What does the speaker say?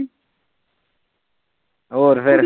ਹੋਰ ਫਿਰ